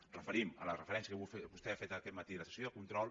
ens referim a la referència que vostè ha fet aquest matí a la sessió de control